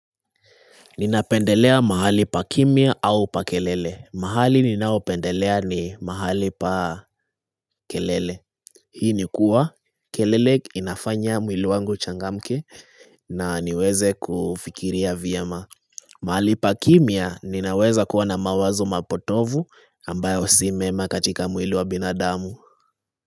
Ninapendelea mahali pa kimia au pa kelele. Mahali ninaopendelea ni mahali pa kelele. Hii ni kuwa kelele inafanya mwili wangu uchangamke na niweze kufikiria vyema. Mahali pa kimia ninaweza kuwa na mawazo mapotovu ambayo simema katika mwili wa binadamu.